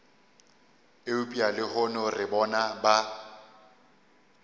eupša lehono re bona ba